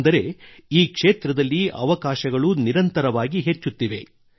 ಅಂದರೆ ಈ ಕ್ಷೇತ್ರದಲ್ಲಿ ಅವಕಾಶಗಳು ನಿರಂತರವಾಗಿ ಹೆಚ್ಚುತ್ತಿವೆ